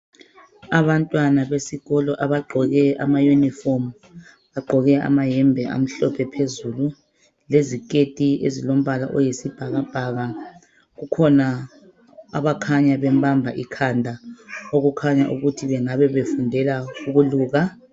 Abantwana besikolo bagqoke ama uniform bagqoke amayembe amhlophe phezulu leziketi ezilombala oyisibhalabhaka kukhona abakhanya bembamba ikhanda okungabe kuyikuthi bengabe befundela ukuluka